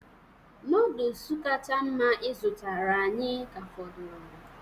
Noodolus kacha mma ị zụtara anyị ka fọdụrụ